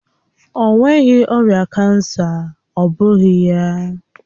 Ọ nweghị ọrịa kansa, ọ́ bụghị ya?